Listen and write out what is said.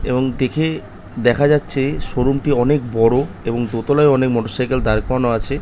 এবং দেখে দেখা যাচ্ছে শোরুম টি অনেক বড়ো এবং দোতলায় অনেক মোটর সাইকেল দাঁড় করানো আছে।